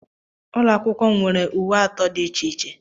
Ụlọ akwụkwọ m nwere uwe atọ dị iche iche.